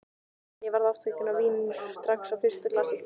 En ég varð ástfangin af víninu strax á fyrsta glasi.